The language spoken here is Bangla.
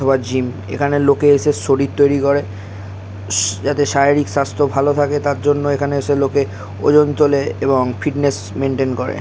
সবার জিম এখানে লোকে এসে শরীর তৈরী করে স যাতে শারীরিক স্বাস্থ্য ভালো থাকে তার জন্য লোকে এখানে ওজন তোলে এবং ফিটনেস মেইনটেইন করে ।